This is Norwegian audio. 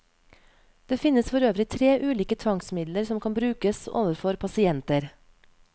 Det finnes for øvrig tre ulike tvangsmidler som kan brukes overfor pasienter.